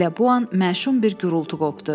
Elə bu an məşum bir gurultu qopdu.